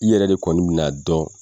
I yɛrɛ de kɔni mi na dɔn